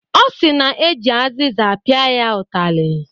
Ọ sị na eji azịza pịa ya ụtarị.